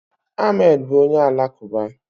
Ahmed bụ onye Alakụba